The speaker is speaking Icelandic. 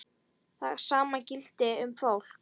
Það sama gilti um fólk.